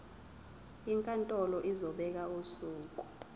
inkantolo izobeka usuku